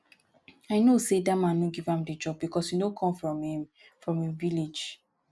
i know say dat man no give am the job because e no come from im from im village